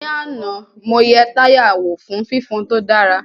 Ní àná, mo yẹ táyà wò fún fifon tó dára